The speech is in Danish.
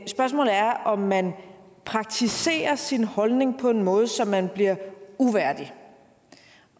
spørgsmålet er om man praktiserer sin holdning på en måde så man bliver uværdig